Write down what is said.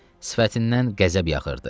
Sifətindən qəzəb yağırdı.